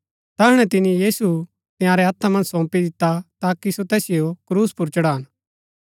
तैहणै तिनी तैसिओ तंयारै हत्था मन्ज सौंपी दिता ताकि सो तैसिओ क्रूस पुर चढ़ान